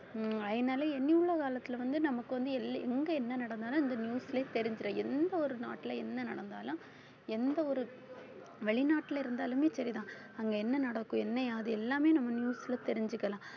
உம் அதனால இனியுள்ள காலத்துல வந்து நமக்கு வந்து எல்~ எங்க என்ன நடந்தாலும் இந்த news லயே தெரிஞ்சிரும் எந்த ஒரு நாட்டுல என்ன நடந்தாலும் எந்த ஒரு வெளிநாட்டுல இருந்தாலுமே சரிதான் அங்க என்ன நடக்கும் என்ன ஏது எல்லாமே நம்ம news ல தெரிஞ்சுக்கலாம்